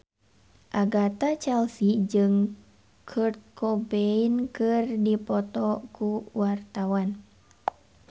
Agatha Chelsea jeung Kurt Cobain keur dipoto ku wartawan